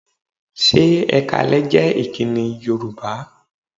Ṣé "Ẹ káalẹ́" jẹ́ ìkíni Yorùbá?